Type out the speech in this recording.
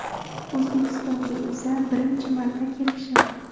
O‘zbekistonga esa birinchi marta kelishim.